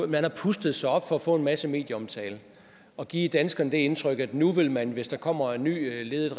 man har pustet sig op for at få en masse medieomtale og givet danskerne det indtryk at nu vil man hvis der kommer en ny regering ledet